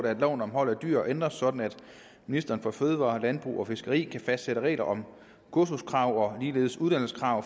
at loven om hold af dyr ændres sådan at ministeren for fødevarer landbrug og fiskeri kan fastsætte regler om kursuskrav og ligeledes uddannelseskrav